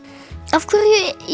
af hverju